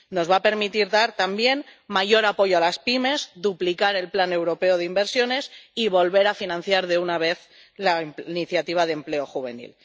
Nos va a permitir dar también mayor apoyo a las pymes, duplicar el plan europeo de inversiones y volver a financiar de una vez la Iniciativa de Empleo Juvenil.